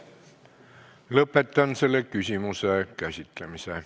Lõpetan selle küsimuse käsitlemise.